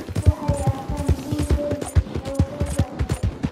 Waxay arkaan guul weyn oo soo socota.